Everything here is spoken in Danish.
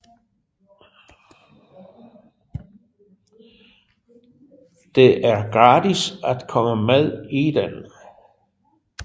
Det er gratis at komme med i den